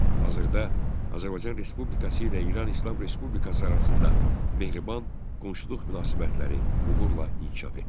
Hazırda Azərbaycan Respublikası ilə İran İslam Respublikası arasında mehriban qonşuluq münasibətləri uğurla inkişaf etdirilir.